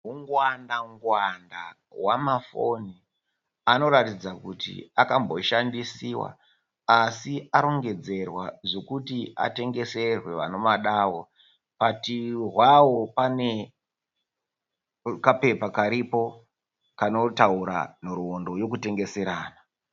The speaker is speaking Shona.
Hungwanda ngwanda hwamafoni anoratidza kuti akamboshandisiwa asi arongedzerwa zvekuti atengeserwe vanomadawo bhati hwawo pane kapepa karipo kanotaura nhoroondo yekutengeserana